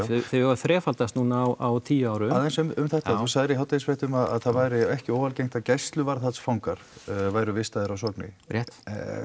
þau hafa þrefaldast núna á tíu árum aðeins um þetta þú sagðir í hádegisfréttum að það væri ekki óalgengt að gæsluvarðhaldsfangar væru vistaðir á Sogni rétt